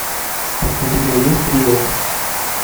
у тебя есть рио